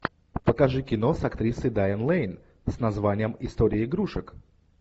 покажи кино с актрисой дайан лэйн с названием история игрушек